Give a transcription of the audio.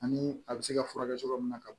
Ani a bɛ se ka furakɛ cogo min na ka